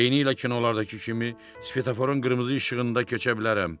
Eynilə kinolardakı kimi svetoforun qırmızı işığında keçə bilərəm.